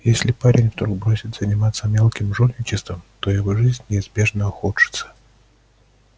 если парень вдруг бросит заниматься мелким жульничеством то его жизнь неизбежно ухудшится